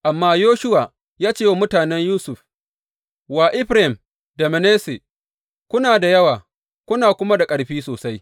Amma Yoshuwa ya ce wa mutanen Yusuf, wa Efraim da Manasse, Kuna da yawa, kuna kuma da ƙarfi sosai.